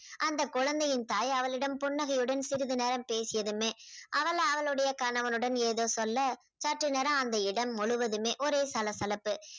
அந்த குழந்தையின் தாய் அவளிடம் புன்னகையுடன் சிறிது நேரம் பேசியதுமே. அவள் அவளுடைய கணவனுடன் ஏதோ சொல்ல சற்று நேரம் அந்த இடம் முழுவதுமே ஒரே சளசளப்பு.